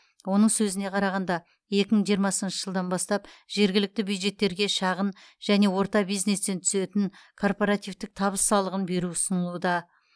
оның сөзіне қарағанда екі мың жиырмасыншы жылдан бастап жергілікті бюджеттерге шағын және орта бизнестен түсетін корпоративтік табыс салығын беру ұсынылуда